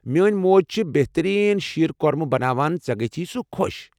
میٲنۍ موج چھِ بہترین شیٖر کۄرمہٕ بناوان، ژےٚ گژھی سُہ خۄش۔